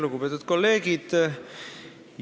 Lugupeetud kolleegid!